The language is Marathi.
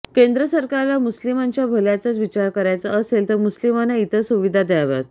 केंद्र सरकारला मुस्लिमांच्या भल्याचाच विचार करायचा असेल तर मुस्लिमांना इतर सुविधा द्याव्यात